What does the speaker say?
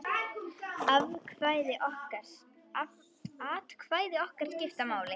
Atkvæði okkar skiptir máli.